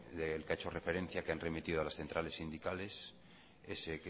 del que ha hecho referencia que han remitido a las centrales sindicales ese